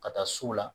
Ka taa so la